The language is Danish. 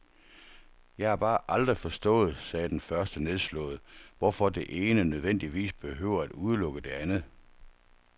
Jeg har bare aldrig forstået, sagde den første nedslået, hvorfor det ene nødvendigvis behøver at udelukke det andet.